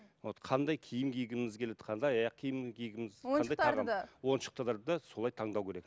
вот қандай киім кигіміз келеді қандай аяқ киім кигіміз қандай ойыншықтарды да ойыншықтарды да солай таңдау керек